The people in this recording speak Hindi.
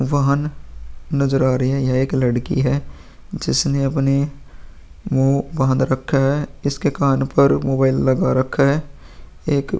वाहन नजर आ रही है। यहाँ एक लड़की है जिसने अपने मुँह बांध रखा है इसके कान पर मोबाइल लगा रखा है। एक --